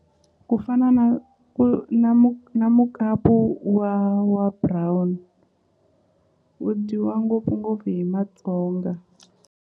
Ku fana na ku na na mukapu wa wa brown wu dyiwa ngopfungopfu hi Matsonga.